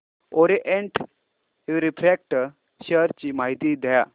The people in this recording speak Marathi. ओरिएंट रिफ्रॅक्ट शेअर ची माहिती द्या